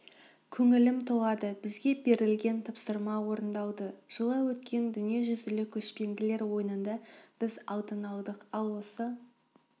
көңілім толады бізге берілген тапсырма орындалды жылы өткен дүниежүзілік көшпенділер ойынында біз алтын алдық ал осы